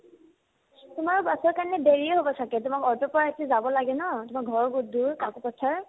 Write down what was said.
তোমাৰো বাছৰ কাৰণে দেৰিয়ে হ'ব ছাগে তোমাক অ'টোৰ পৰাইতো যাব লাগে ন তোমাৰ ঘৰো বহুত দূৰ কাকোপথাৰ